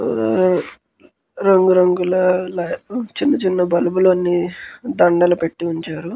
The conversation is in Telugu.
రంగు రంగుల చిన్న చిన్న బల్బులన్నీ దండాలుగ పెట్టించారు --